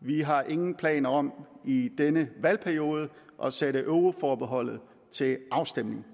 vi har ingen planer om i denne valgperiode at sætte euroforbeholdet til afstemning